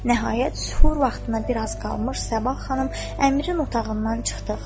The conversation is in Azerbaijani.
Nəhayət sübh vaxtına bir az qalmış, Sabah xanım əmrin otağından çıxdı.